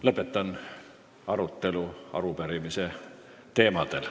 Lõpetan arutelu selle arupärimise teemal.